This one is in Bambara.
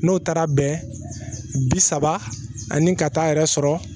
N'o taara bɛn bi saba ani ka taa yɛrɛ sɔrɔ